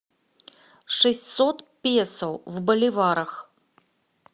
шестьсот песо в боливарах